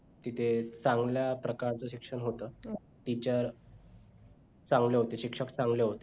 तिथे चांगल्या प्रकारचं शिक्षण होतं teacher चांगले होते शिक्षक चांगले होते